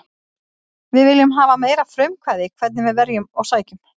Við viljum hafa meira frumkvæði hvernig við verjum og sækjum.